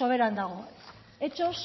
soberan dago hechos